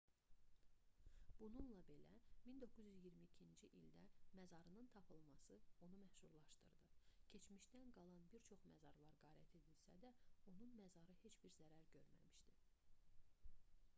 bununla belə 1922-ci ildə məzarının tapılması onu məşhurlaşdırdı keçmişdən qalan bir çox məzarlar qarət edilsə də onun məzarı heç bir zərər görməmişdi